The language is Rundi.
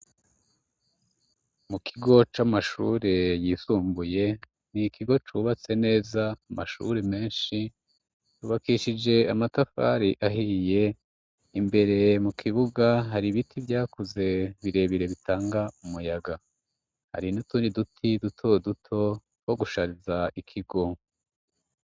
Mu kigo c'amashuri yisumbuye ni ikigo cubatse neza amashuri menshi rubakishije amatafari ahiye imbere mu kibuga hari ibiti vyakuze birebire bitanga umuyaga hari nuturi duti duto duto ko gushariza ikigo.